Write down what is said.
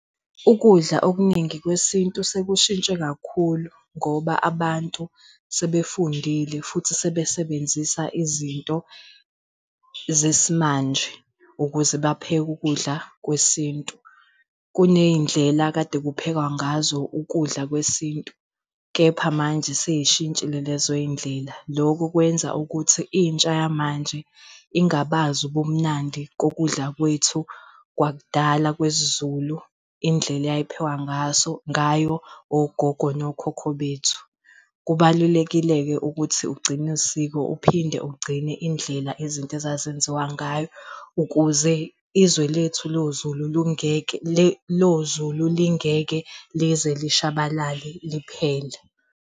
Ukudla okuningi kwesintu sekushintshe kakhulu ngoba abantu sebefundile futhi sebe sebenzisa izinto zesimanje ukuze bapheke ukudla kwesintu. Kuney'ndlela ekade kuphekwa ngazo ukudla kwesintu, kepha manje sey'shintshile lezoy'ndlela lokhu kwenza ukuthi intsha yamanje ingabazi ubumnandi kokudla kwethu kwakudala kwesiZulu, indlela eyayiphekwa ngaso ngayo, ogogo nokhokho bethu. Kubalulekile-ke ukuthi ugcine usiko uphinde ugcine indlela izinto ezazenziwa ngayo, ukuze izwe lethu lo Zulu lungeke Lo Zulu lingeke lize lishabalala liphele.